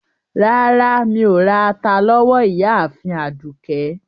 Rárá, Mí o rà àtà lówó Ìyààfin Àdúkẹ.